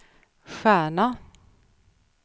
stjärna